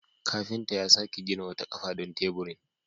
Kafinta ya sake gina wata kafa don teburin.